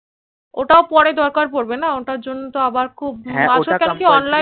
ওটা পরে দরকার পড়বে না ওটার জন্য আবার খুব